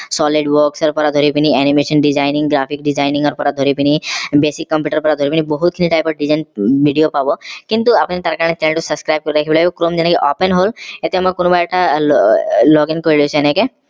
solid works ৰ পৰা ধৰি পিনি animation designing graphics designing ৰ পৰা ধৰি পিনি basic computer ৰ পৰা ধৰি পিনি বহুত খিনি type ৰ design video পাব কিন্তু আপুনি তাৰ কাৰণে channel টো subscribe কৰি ৰাখিব chrome যেনেকে open হল এতিয়া মই কোনোবা এটা login কৰি লৈছো এনেকে